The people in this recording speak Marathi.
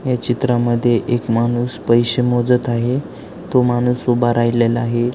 या चित्रा मध्ये एक माणूस पैसे मोजत आहे तो माणूस उभा आहे.